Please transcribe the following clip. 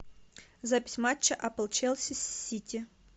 запись матча апл челси с сити